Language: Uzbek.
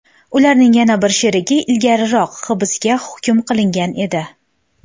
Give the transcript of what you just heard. Ularning yana bir sherigi ilgariroq hibsga hukm qilingan edi.